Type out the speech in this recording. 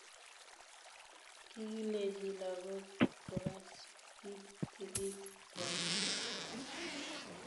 kigilechi lagook kokas it sigiik kwai